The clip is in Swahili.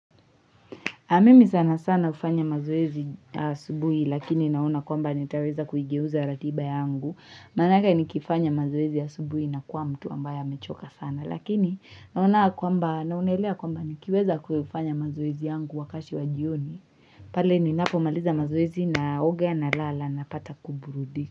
Mimi sana sana hufanya mazoezi asubuhi lakini naona kwamba nitaweza kuigeuza ratiba yangu Manake nikifanya mazoezi asubuhi nakuwa mtu ambaye amechoka sana Lakini naona kwamba naonelea kwamba nikiweza kuyafanya mazoezi yangu wakati wa jioni pale ninapomaliza mazoezi naoga nalala napata kuburudika.